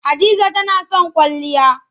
Hadiza tana son kwalliya.